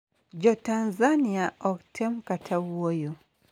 Jotanzania ok tem kata wuoyo.